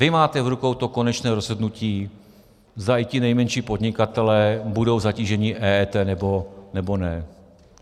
Vy máte v rukou to konečné rozhodnutí, zda i ti nejmenší podnikatelé budou zatíženi EET, nebo ne.